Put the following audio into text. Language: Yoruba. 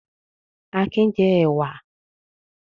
Akin jẹ ẹ̀wà?